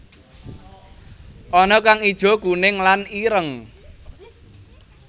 Ana kang ijo kuning lan ireng